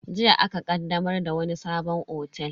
Jiya aka ƙaddamar da wani sabon otel.